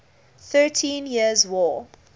thirteen years war